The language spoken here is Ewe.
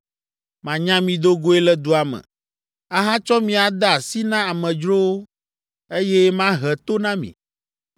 Manya mi do goe le dua me, ahatsɔ mi ade asi na amedzrowo, eye mahe to na mi.